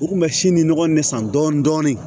U kun bɛ si ni nɔgɔ in ne san dɔɔnin dɔɔnin